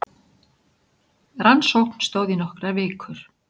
Rannsókn stóð í nokkrar vikur